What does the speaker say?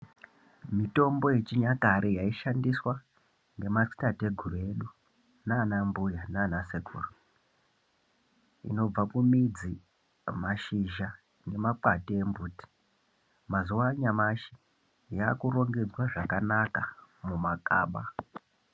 Mitombo yechinyakare yaishandiswa ngemadziteteguru edu naanambuya naanasekuru, inobva kumidzi nemashizha, nemakwande embiti, mazuwa anyamashi yaakurongedzwa zvakanaka mumakaba.